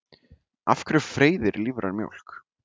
Af hverju freyðir lífræn mjólk?